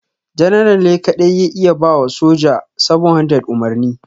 General ne kadai ya iya ba wa soja 700 umarni.